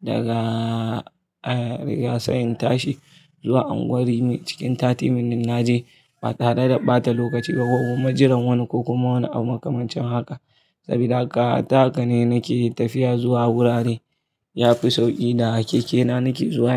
daga, eh, Rigasa in tashi zuwa unguwa rimi cikin 30 minutes naje ba tare da ɓata lokaci ba ko kuma jiran wani ko kuma wani abu makamancin haka. Sabida haka, ta haka ne nake tafiya zuwa wurare. Yafi sauƙi da keke na nake zuwa.